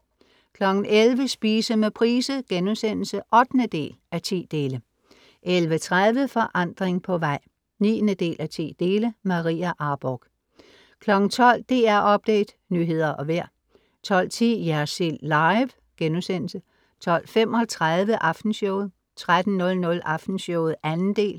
11:00 Spise med Price* (8:10) 11:30 Forandring på vej (9:10 ) Maria Arborgh 12:00 DR Update, nyheder og vejr 12:10 Jersild Live* 12:35 Aftenshowet 13:00 Aftenshowet 2. del